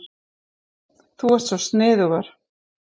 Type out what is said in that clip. Þú ert svo sniðugur.